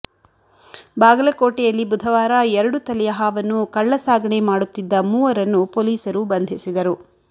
ಬಾಗಲಕೋಟೆಯಲ್ಲಿ ಬುಧವಾರ ಎರಡುತಲೆಯ ಹಾವನ್ನು ಕಳ್ಳಸಾಗಣೆ ಮಾಡುತ್ತಿದ್ದ ಮೂವರನ್ನು ಪೊಲೀಸರು ಬಂಧಿಸಿದರು